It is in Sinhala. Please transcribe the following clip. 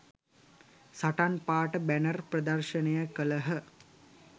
සටන් පාඨ බැනර් ප්‍රදර්ශණය කලහ